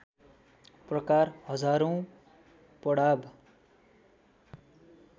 प्रकार हजारौँ पडाव